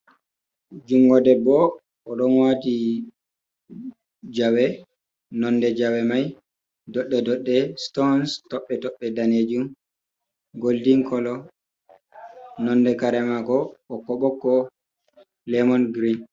Jungo debbo oɗo wati jawee, nonde jawee mai dodɗe dodɗe, sutons tobɓe tobɓe danejum goldin koloo. Nonde kare maako ɓokko ɓokko lemon giriin.